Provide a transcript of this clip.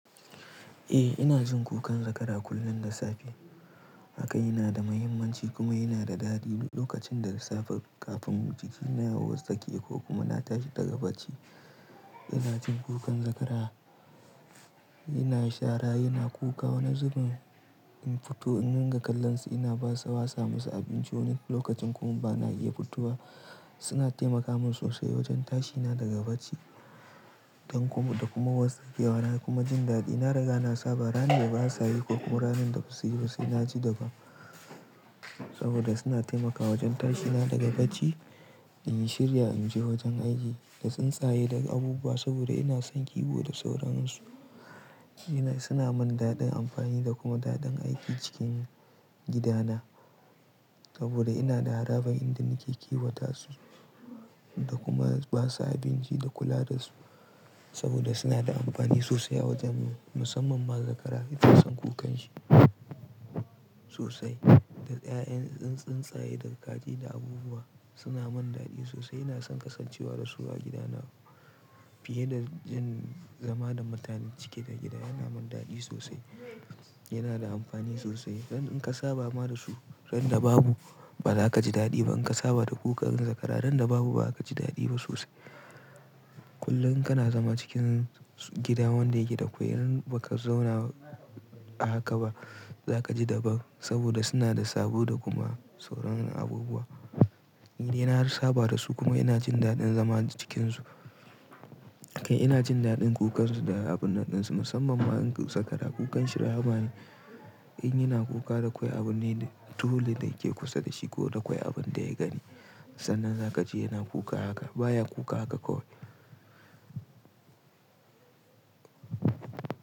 Eh ina jin kukan zakara kullum da safe haka yana da muhimmanci kuma yana da daɗi duk lokacin da safe kafin jiki na ya watsake ko kuma na tashi daga bacci ina jin kukan zakara. Yana chara yana kuka wani zubin in fito in nanga kallon sa ina basa wasa masa abinci wani lokacin kuma bana iya fitowa suna taimaka min sosai wajen tashi na daga bacci da kuma watsakewa na kuma jin daɗi na riga na saba ranne da basa yi ko kuma ranan da basu yi ba sai naji daban saboda suna taimaka wajen tashi na daga bacci in shirya in je wajen aiki da tsuntsaye daga abubuwa saboda ina son kiwo da sauran su. Suna min daɗin amfani da kuma daɗin aiki cikin gidana saboda ina da harabar inda nake kiwata su da kuma basa abinci da kula da su saboda suna da amfani sosai a wajen mu musamman ma zakara ina son kukan shi sosai da 'ya'yan tsintsaye da kaji da abubuwa suna min daɗi sosai ina son kasancewa da su a gidana fiye da in zama da mutanen cike da gida yana min daɗi sosai yana da amfani sosai dan in ka saba ma da su ran da babu baza ka ji daɗi ba in ka saba da kukan zakara ran da babu baza ka ji daɗi ba sosai. Kullum kana zama cikin gida wanda yake da kwai randa baka zauna a haka ba zaka ji daban saboda suna da sabo da kuma sauran abubuwa. Ni dai na saba da su kuma ina jin daɗin zama cikin su, kai ina jin daɗin kukan su da abun naɗin su musamman ma in zakara kukan shirya rahma ne in yana kuka da kwai abune dole da yake kusa da shi ko da kwai abun da ya gani sannan zaka ji yana kuka haka baya kuka haka kawai.